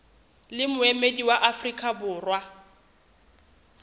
le moemedi wa afrika borwa